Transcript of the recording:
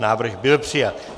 Návrh byl přijat.